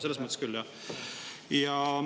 Selles mõttes küll, jah.